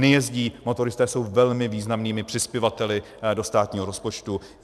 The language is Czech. Nejezdí, motoristé jsou velmi významnými přispěvateli do státního rozpočtu.